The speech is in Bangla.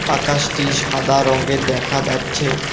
আকাশটি সাদা রঙ্গের দেখা যাচ্ছে।